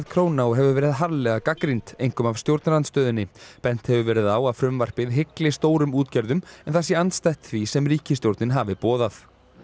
króna og hefur verið harðlega gagnrýnd einkum af stjórnarandstöðunni bent hefur verið á að frumvarpið hygli stórum útgerðum en það sé andstætt því sem ríkisstjórnin hafi boðað